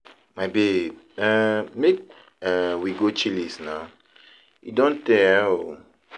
My babe, um make um we go Chillies na, e don tey um oo